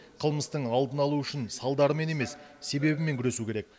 қылмыстың алдын алу үшін салдарымен емес себебімен күресу керек